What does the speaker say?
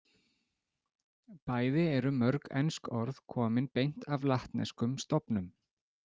Bæði eru mörg ensk orð komin beint af latneskum stofnum.